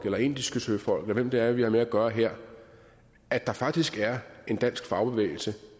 eller indiske søfolk eller hvem det er vi har med at gøre her at der faktisk er en dansk fagbevægelse